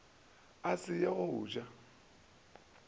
a se ye go ja